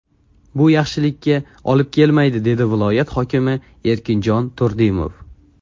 Bu yaxshilikka olib kelmaydi, dedi viloyat hokimi Erkinjon Turdimov.